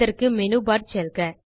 அதற்கு menu bar செல்க